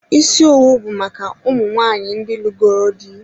Ísì owu bụ maka ụmụ nwaanyị ndị lugoro dị.